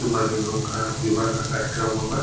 सुबह में इन लोग का विवाह का कार्यक्रम होगा।